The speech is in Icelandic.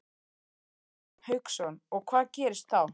Hafsteinn Hauksson: Og hvað gerist þá?